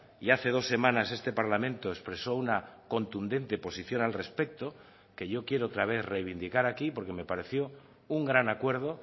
y hace dos semanas este parlamento expresó una contundente posición al respecto que yo quiero otra vez reivindicar aquí porque me pareció un gran acuerdo